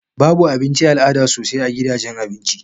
Babu Abinci al'ada sosai a gidajen Abinci